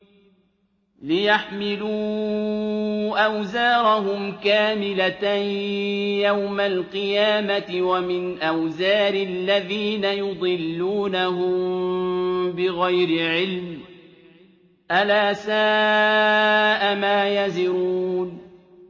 لِيَحْمِلُوا أَوْزَارَهُمْ كَامِلَةً يَوْمَ الْقِيَامَةِ ۙ وَمِنْ أَوْزَارِ الَّذِينَ يُضِلُّونَهُم بِغَيْرِ عِلْمٍ ۗ أَلَا سَاءَ مَا يَزِرُونَ